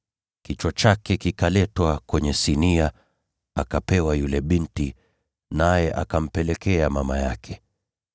Kichwa chake kikaletwa kwenye sinia, akapewa yule binti, naye akampelekea mama yake.